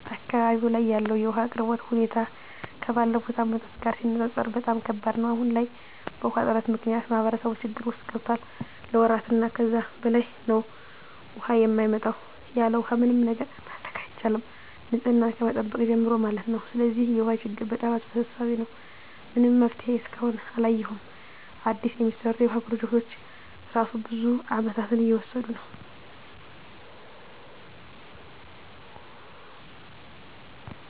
አካባቢው ላይ ያለው የውሃ አቅርቦት ሁኔታ ከባለፉት አመታት ጋር ሲነፃፀር በጣም ከባድ ነው። አሁን ላይ በውሃ እጥረት ምክንያት ማህበረሰቡ ችግር ውስጥ ገብቷል ለወራት እና ከዛ በላይ ነው ውሃ የማይመጣው። ያለውሃ ምንም ነገር ማድረግ አይቻልም ንፅህናን ከመጠበቅ ጀምሮ ማለት ነው። ስለዚህ የውሃ ችግሩ በጣም አሳሳቢ ነው። ምንም መፍትሄ እስካሁን አላየሁም አዲስ የሚሰሩ የውሃ ፕሮጀክቶች እራሱ ብዙ አመታትን እየወሰዱ ነው።